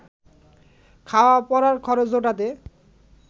খাওয়া পরার খরচ জোটাতে